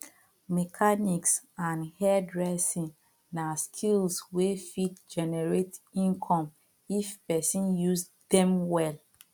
mechanics and hairdressing na skills wey fit generate income if pesin use dem well